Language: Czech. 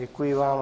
Děkuji vám.